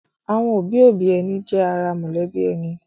Àwọn òbí-òbí ẹni jẹ́ ara mọ̀lẹ́bí rẹ̀.